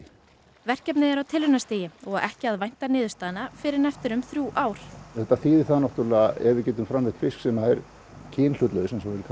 verkefnið er á tilraunastigi og ekki að vænta niðurstaðna fyrr en eftir um þrjú ár þetta þýðir það náttúrlega ef við getum framleitt fisk sem er kynhlutlaust